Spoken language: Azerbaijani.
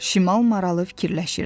Şimal maralı fikirləşirdi.